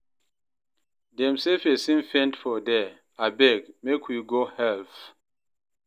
Dem sey pesin faint for there, abeg make we go help.